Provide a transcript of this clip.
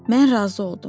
Mən razı oldum.